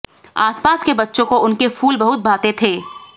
आसपास के बच्चों को उनके फूल बहुत भाते थे